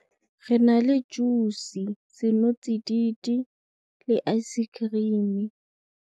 Re na le juice, senotsididi le ice-cream-e.